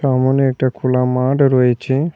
সামোনে একটা খোলা মাঠ রয়েছে।